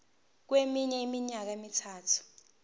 kweminye iminyaka emithathu